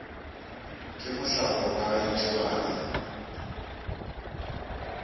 ke mohlako ba a itebala